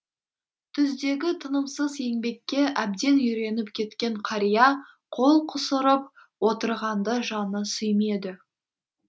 түздегі тынымсыз еңбекке әбден үйреніп кеткен қария қол қусырып отырғанды жаны сүймеді